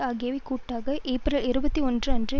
ஆகியவை கூட்டாக ஏப்ரல் இருபத்தி ஒன்று அன்று